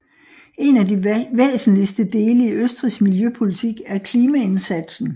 En af de væsentligste dele i Østrigs miljøpolitik er klimaindsatsen